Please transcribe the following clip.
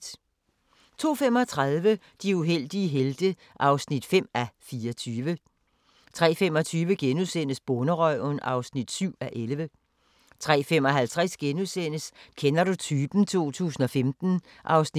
02:35: De uheldige helte (5:24) 03:25: Bonderøven (7:11)* 03:55: Kender du typen? 2015 (1:9)*